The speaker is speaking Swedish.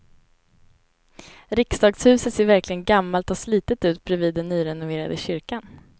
Riksdagshuset ser verkligen gammalt och slitet ut bredvid den nyrenoverade kyrkan.